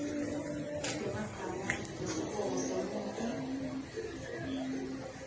temagama nesibongo semuntfu